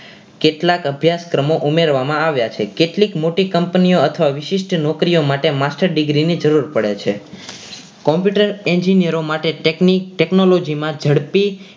કેટલાક અભ્યાસક્રમો ઉમેરવામાં આવ્યા છે કેટલીક મોટી company ઓ અથવા વિશિષ્ટ નોકરીઓ માટે master degree ની જરૂર પડે છે computer engineer માટે technique Technology માં ઝડપી.